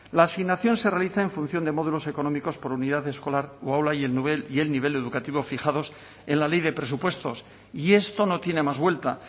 la asignación se realiza en función de modelos económicos por unidad escolar aula y el nivel educativo fijados en la ley de presupuestos y esto no tiene más vuelta